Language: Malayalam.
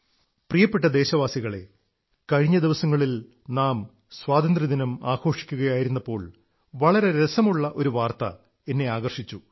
പ്രിയപ്പെട്ട ദേശവാസികളേ കഴിഞ്ഞ ദിവസങ്ങളിൽ നാം സ്വാതന്ത്ര്യദിനം ആഘോഷിക്കയായിരുന്നപ്പോൾ വളരെ രസമുള്ള ഒരു വാർത്ത എന്നെ ആകർഷിച്ചു